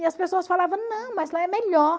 E as pessoas falava, não, mas lá é melhor.